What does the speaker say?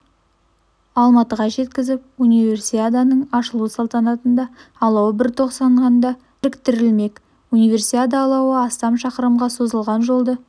алматыға жеткізіп универсиаданың ашылу салтанатында алау бір тостағанда біріктірілмек универсиада алауы астам шақырымға созылған жолды